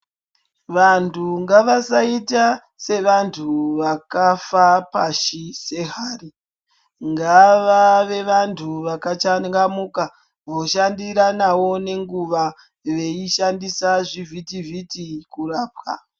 Vantu ngavasaita sevantu vakafa pashi sehari. Ngavave vantu vakachangamuka voshandiranawo nenguwa voshandisa zvivhiti-vhiti kurapwa.